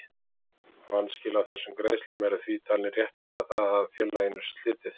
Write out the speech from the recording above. Vanskil á þessum greiðslum eru því talinn réttlæta það að félaginu sé slitið.